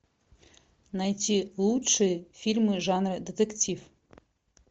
найти лучшие фильмы жанра детектив